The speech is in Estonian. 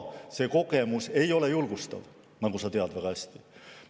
See kogemus ei ole julgustav, nagu sa väga hästi tead.